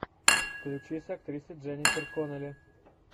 включи с актрисой дженнифер коннелли